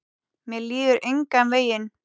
Mér líður engan veginn.